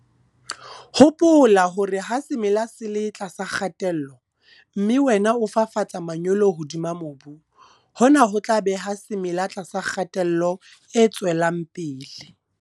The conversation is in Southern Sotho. Hopola hore ha semela se le tlasa kgatello, mme wena o fafatsa manyolo hodima mobu, hona ho tla beha semela tlasa kgatello e tswelang pele.